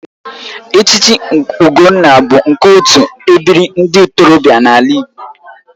Echichi Ugonna bụ nke otu ebiri ndị ntorobịa n'ala Igbo